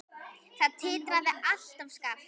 Það titraði allt og skalf.